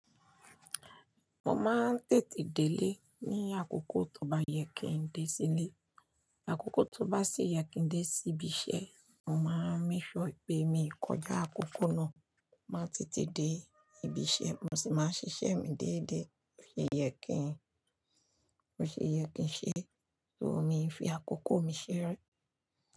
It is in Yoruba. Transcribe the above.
Mo máa ń tètè délé ní àkókò tó bá yẹ kí n dé sílé. Àkókò tó bá sì yẹ kí dé sí ibi iṣẹ́, mo máa ń make sure pé mi o kọjá àkókò náà, màá tètè dé ibi iṣẹ́, mo sì máa ṣiṣẹ́ mi déédéé. Bo ṣe yẹ kí n ṣe, so mi fi àkókò mi ṣeré.